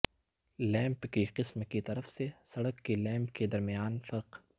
lamp کی قسم کی طرف سے سڑک کی لیمپ کے درمیان فرق